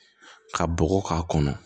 Ka bɔgɔ k'a kɔnɔ